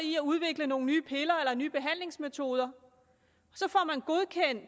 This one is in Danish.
i at udvikle nogle nye piller eller nye behandlingsmetoder